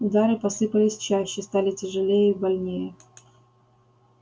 удары посыпались чаще стали тяжелее и больнее